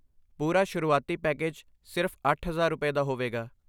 ਪੂਰਾ ਸ਼ੁਰੂਆਤੀ ਪੈਕੇਜ ਸਿਰਫ਼ ਅੱਠ ਹਜ਼ਾਰ ਰੁਪਏ, ਦਾ ਹੋਵੇਗਾ